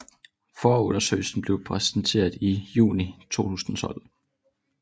Forundersøgelsen blev præsenteret i juni 2012